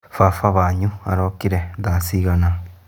Baba wanyu arokire thaa cigana